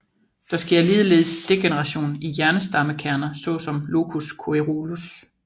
Der sker ligeledes degeneration i hjernestammekerner såsom locus coeruleus